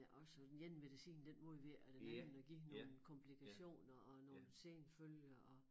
Også og den ene medicin den modvirker den anden og giver nogle komplikationer og nogle senfølger og